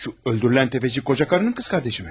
O öldürülən sələmçi qoca arvadın bacısıdırmı?